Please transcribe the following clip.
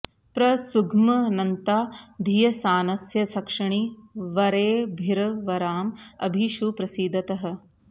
प्र सु ग्मन्ता धियसानस्य सक्षणि वरेभिर्वराँ अभि षु प्रसीदतः